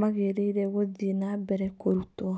magĩrĩire gũthiĩ na mbere kũrutwo.